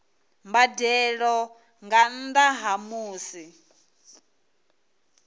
mbadelo nga nnda ha musi